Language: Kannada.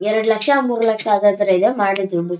ಎರಡು ಲಕ್ಷ ಮೂರೂ ಲಕ್ಷ ಹಾಗಾದ್ರೆ ಇದು ಮಾಡಿದೆ ಒಂದು-